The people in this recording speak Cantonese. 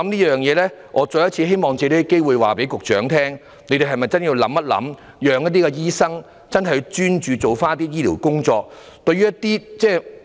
因此，我希望藉此機會請局長考慮一下，怎樣才可以讓醫生真正專注處理醫療職務。